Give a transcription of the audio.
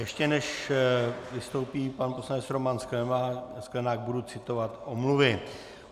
Ještě než vystoupí pan poslanec Roman Sklenák, budu citovat omluvy.